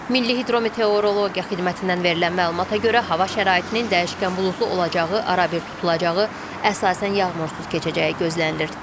Milli hidrometeorologiya xidmətindən verilən məlumata görə hava şəraitinin dəyişkən buludlu olacağı, arabir tutulacağı, əsasən yağmursuz keçəcəyi gözlənilir.